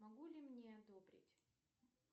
могу ли мне одобрить